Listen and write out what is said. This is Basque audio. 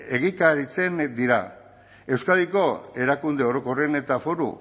egikaritzen dira euskadiko erakunde orokorren eta foru